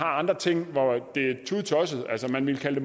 andre ting som man ville kalde